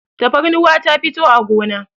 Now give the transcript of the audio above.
tafarnuwa ta fito a gona